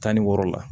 Tan ni wɔɔrɔ la